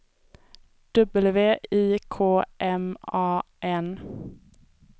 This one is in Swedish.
W I K M A N